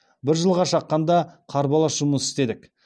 бір жылға шаққанда қарбалас жұмыс істедік